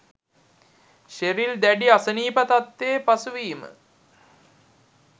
Sheryl දැඩි අසනීප තත්ත්වයේ පසුවීම